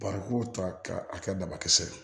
Barikon ta k'a kɛ dabakisɛ ye